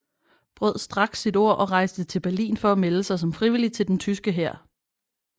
Brød straks sit ord og rejste til Berlin for at melde sig som frivillig til den tyske hær